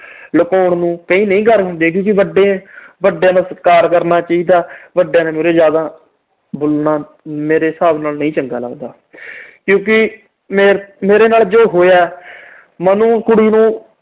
ਲੁਕੋਨ ਨੂੰ, ਨਹੀਂ ਕਰ ਹੁੰਦੀਆਂ ਕਿਉਂਕਿ ਵੱਡੇ ਅਹ ਵੱਡਿਆਂ ਦਾ ਸਤਿਕਾਰ ਕਰਨਾ ਚਾਹੀਦਾ। ਵੱਡਿਆਂ ਦੇ ਮੁਹਰੇ ਬੋਲਣਾ ਮੇਰੇ ਹਿਸਾਬ ਨਾਲ ਨਹੀਂ ਚੰਗਾ ਲੱਗਦਾ ਕਿਉਂਕਿ ਮੇਰੇ ਨਾਲ ਜੋ ਹੋਇਆ, ਮੈਂ ਉਹਨੂੰ ਕੁੜੀ ਨੂੰ